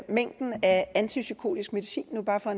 mængden af antipsykotisk medicin bare for